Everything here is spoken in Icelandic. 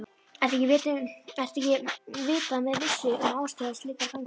Ekki er vitað með vissu um ástæður slíkra framhlaupa